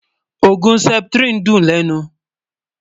ògún septrin dùn lènú